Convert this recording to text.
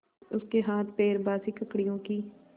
उसके हाथपैर बासी ककड़ियों की